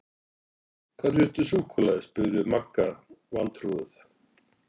Hvar fékkstu súkkulaði? spurði Magga vantrúuð.